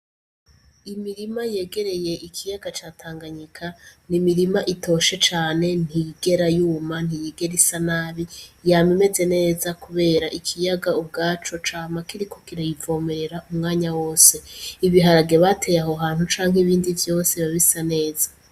Imirima yegereye ikiyaga catanganyika ni imirima itoshe cane ntigera yuma ntiyigera isa nabi yama imeze neza, kubera ikiyaga ubwaco ca makirikukirayivomerera umwanya wose ibiharage bateye aho hantu canke ibindi vyose babisa neza.